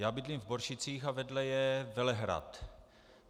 Já bydlím v Boršicích a vedle je Velehrad.